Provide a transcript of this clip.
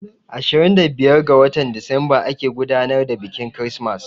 Ashirin da biyar ga watan Disamba ake gudanar da biƙin kirismas